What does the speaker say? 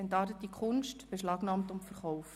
‹Entartete Kunst› – Beschlagnahmt und verkauft».